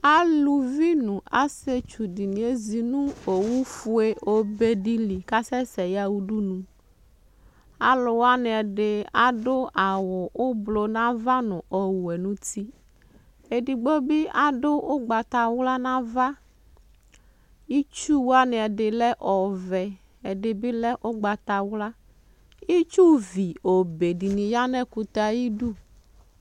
Aluvi nʋ asɩetsu dɩnɩ ezi nʋ owufue obe dɩ li kʋ asɛsɛ yaɣa udunu Alʋ wanɩ ɛdɩ adʋ awʋ ʋblɔ nʋ ava nʋ ɔwɛ nʋ uti Edigbo bɩ adʋ ʋgbatawla nʋ ava Itsu wanɩ ɛdɩ lɛ ɔvɛ, ɛdɩ bɩ lɛ ʋgbatawla Itsuvi obe dɩnɩ ya nʋ ɛkʋtɛ yɛ ayɩdu